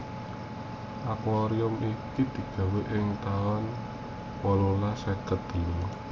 Akuarium iki digawé ing taun wolulas seket telu